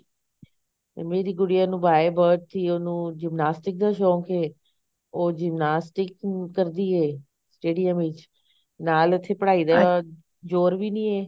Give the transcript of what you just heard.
ਤੇ ਮੇਰੀ ਗੁਡੀਆ ਨੂੰ by birth ਹੀ ਉਹਨੂੰ gymnastic ਦਾ ਸ਼ੌਂਕ ਐ ਉਹ gymnastic ਕਰਦੀ ਐ stadium ਵਿੱਚ ਨਾਲ ਉੱਥੇ ਪੜ੍ਹਾਈ ਦਾ ਜੋਰ ਵੀ ਨੀ ਐ